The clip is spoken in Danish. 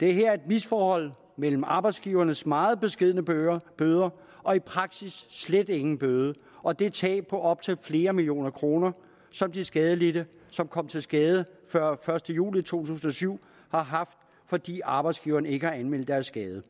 der er her et misforhold mellem arbejdsgivernes meget beskedne bøder bøder og i praksis slet ingen bøde og det tab på op til flere millioner kroner som de skadelidte som kom til skade før første juli to tusind og syv har haft fordi arbejdsgiveren ikke har anmeldt deres skade